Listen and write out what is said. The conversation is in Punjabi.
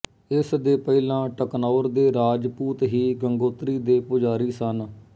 ਇਸ ਦੇ ਪਹਿਲਾਂ ਟਕਨੌਰ ਦੇ ਰਾਜਪੂਤ ਹੀ ਗੰਗੋਤਰੀ ਦੇ ਪੁਜਾਰੀ ਸਨ